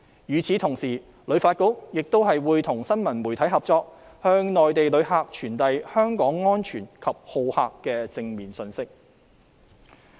與此同時，旅發局亦會與新聞媒體合作，向內地旅客傳遞香港安全及好客的正面信息。